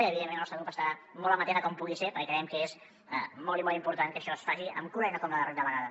i evidentment el nostre grup estarà molt amatent a com pugui ser perquè creiem que és molt i molt important que això es faci amb cura i no com la darrera vegada